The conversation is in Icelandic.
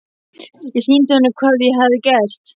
Ég sýndi honum hvað ég hafði gert.